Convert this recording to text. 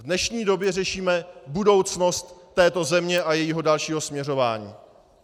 V dnešní době řešíme budoucnost této země a jejího dalšího směřování.